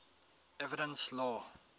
evidence law